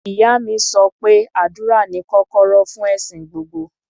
Ìyá mi sọ pé àdúrà ni kọ́kọ́rọ́ fún ẹ̀sìn gbogbo.